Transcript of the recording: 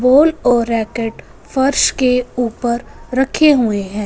Ball और racket फर्श के ऊपर रखे हुए है।